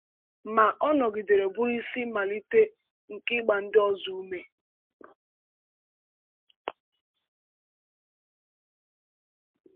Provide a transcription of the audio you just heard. Ma, ọ nọgidere bụrụ isi mmalite nke ịgba ndị ọzọ ume.